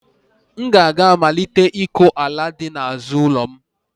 M ga-aga malite ịkọ ala dị n'azụ ụlọ m